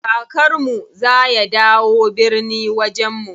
Kakar mu za ya dawo birni wajen mu.